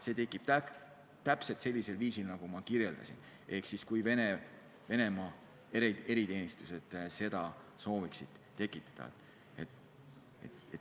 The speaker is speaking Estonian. See tekib täpselt sellisel viisil, nagu ma kirjeldasin, ehk siis, kui Venemaa eriteenistused soovivad selle tekitada.